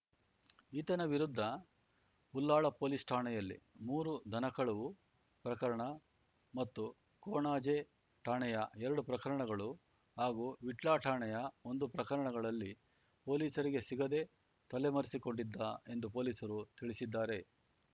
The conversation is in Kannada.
ಈತನ ವಿರುದ್ಧ ಉಳ್ಳಾಲ ಪೊಲೀಸ್ ಠಾಣೆಯಲ್ಲಿ ಮೂರು ದನ ಕಳವು ಪ್ರಕರಣ ಮತ್ತು ಕೊಣಾಜೆ ಠಾಣೆಯ ಎರಡು ಪ್ರಕರಣಗಳು ಹಾಗೂ ವಿಟ್ಲ ಠಾಣೆಯ ಒಂದು ಪ್ರಕರಣಗಳಲ್ಲಿ ಪೊಲೀಸರಿಗೆ ಸಿಗದೆ ತಲೆಮರೆಸಿಕೊಂಡಿದ್ದ ಎಂದು ಪೊಲೀಸರು ತಿಳಿಸಿದ್ದಾರೆ